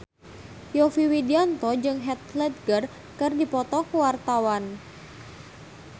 Yovie Widianto jeung Heath Ledger keur dipoto ku wartawan